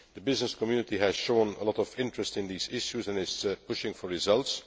The business community has shown a lot of interest in these issues and is pushing for results.